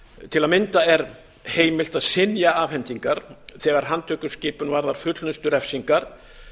til að mynda er heimilt að synja afhendingar þegar handtökuskipan varðar fullnustu refsingar